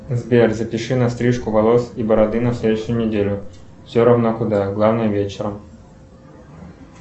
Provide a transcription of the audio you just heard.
сбер запиши на стрижку волос и бороды на следующую неделю все равно куда главное вечером